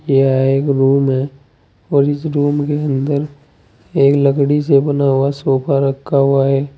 यह एक रूम है और इस के अंदर एक लकड़ी से बना हुआ सोफा रखा हुआ है।